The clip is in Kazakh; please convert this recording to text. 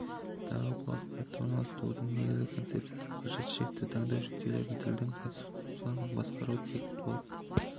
дағы бұл ақпаратты орналастырудың негізгі концепциясы қажет шрифті таңдау жүктеледі тілдің конструкцияларын басқарушы тег болып